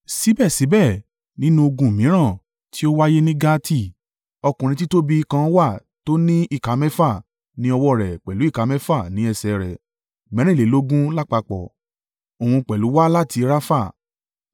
Síbẹ̀síbẹ̀ nínú ogun mìíràn, tí ó wáyé ní Gati, ọkùnrin títóbi kan wà tí ó ní ìka mẹ́fà ní ọwọ́ rẹ̀ pẹ̀lú ìka mẹ́fà ní ẹsẹ̀ rẹ̀ mẹ́rìnlélógún lápapọ̀. Òun pẹ̀lú wá láti Rafa.